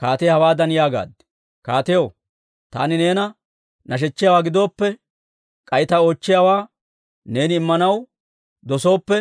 kaatiyaa hawaadan yaagaad; «Kaatiyaw, Taani neena nashechchiyaawaa gidooppe, k'ay ta oochchiyaawaa neeni immanaw dosooppe,